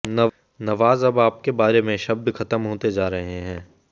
नवाज अब आपके बारे में शब्द खत्म होते जा रहे हैं